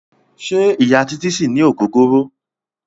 Ṣẹ́ Ìya Títí ṣì ní ògógóró.